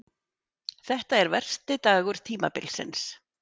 Þetta er versti dagur tímabilsins.